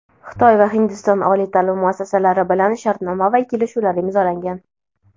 Xitoy va Hindiston oliy taʼlim muassasalari bilan shartnoma va kelishuvlar imzolangan.